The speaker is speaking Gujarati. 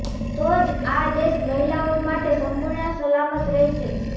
તો જ આ દેશ મહિલાઓ માટે સંપૂર્ણ સલામત રહેશે